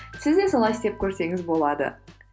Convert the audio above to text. сіз де солай істеп көрсеңіз болады